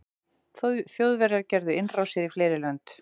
þjóðverjar gerðu innrásir í fleiri lönd